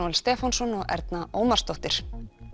Stefánsson og Erna Ómarsdóttir